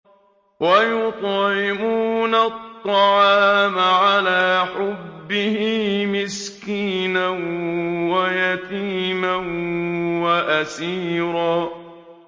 وَيُطْعِمُونَ الطَّعَامَ عَلَىٰ حُبِّهِ مِسْكِينًا وَيَتِيمًا وَأَسِيرًا